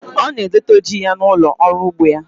Ọ na-edote ji ya n'ụlọ ọrụ ugbo ya.